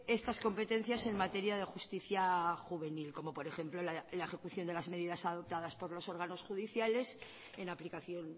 estas competencias en materia de justicia juvenil como por ejemplo la ejecución de las medidas adoptadas por los órganos judiciales en aplicación